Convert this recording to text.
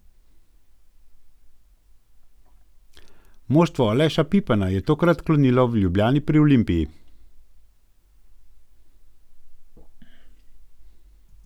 Moštvo Aleša Pipana je tokrat klonilo v Ljubljani pri Olimpiji.